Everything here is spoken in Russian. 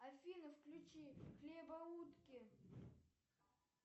афина включи хлебоутки